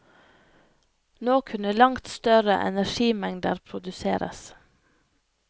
Nå kunne langt større energimengder produseres.